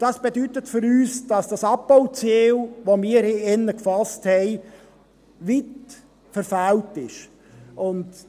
Dies bedeutet für uns, dass das Abbauziel, das wir hier drin gesetzt haben, weit verfehlt wurde.